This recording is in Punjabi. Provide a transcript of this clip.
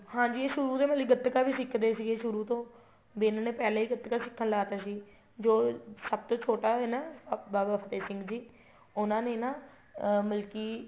ਹਾਂਜੀ ਇਹ ਸ਼ੁਰੂ ਤੇ ਮਤਲਬ ਗੱਤਕਾ ਵੀ ਸਿੱਖਦੇ ਸੀਗੇ ਸ਼ੁਰੂ ਤੋ ਵੀ ਇਹਨਾ ਨੇ ਪਹਿਲਾ ਹੀ ਗੱਤਕਾ ਸਿੱਖਣ ਲਾ ਤਾਂ ਸੀ ਜੋ ਸਭ ਤੋ ਛੋਟਾ ਹੈ ਨਾ ਬਾਬਾ ਫ਼ਤਿਹ ਸਿੰਘ ਜੀ ਉਹਨਾ ਨੇ ਨਾ ਅਹ ਮਤਲਬ ਕੀ